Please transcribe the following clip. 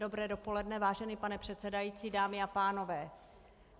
Dobré dopoledne, vážený pane předsedající, dámy a pánové.